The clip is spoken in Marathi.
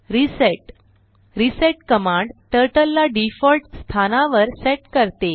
रिसेट रिसेट कमांड टर्टल ला डिफॉल्ट स्थानावर सेट करते